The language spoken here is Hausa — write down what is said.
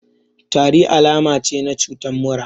Tari alama ce na cutan mura